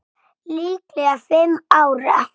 Líklega fimm ára.